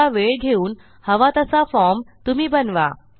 थोडा वेळ घेऊन हवा तसा फॉर्म तुम्ही बनवा